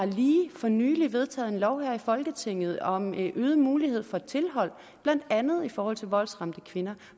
vi lige for nylig har vedtaget en lov her i folketinget om øget mulighed for tilhold blandt andet i forhold til voldsramte kvinder